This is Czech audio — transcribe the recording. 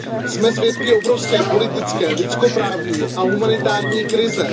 Jsme svědky obrovské politické, lidskoprávní a humanitární krize.